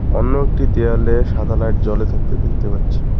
অন্য একটি দেওয়ালে সাদা লাইট জ্বলে থাকতে দেখতে পাচ্ছি।